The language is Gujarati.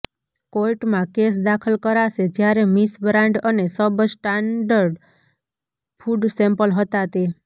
કોર્ટમાં કેસ દાખલ કરાશે જ્યારે મીસ બ્રાન્ડ અને સબ સ્ટાર્ન્ડ્ડ ફુડ સેમ્પલ હતા તે